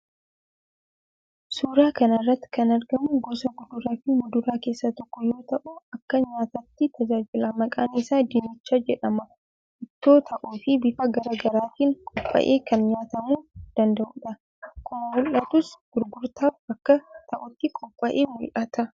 Suuraa kana irratti kan argamu gosa kuduraafi muduraa keessaa tokko yoo ta'u akka nyaataatti tajaajila. Maqaan isaa dinnicha jedhama. Ittoo ta'uufi bifa garaa garaatiin qophaa'ee kan nyaatamuu danda'uudha. Akkuma mul'atus gurgurtaaf akka ta'utti qophaa'ee mul'ata.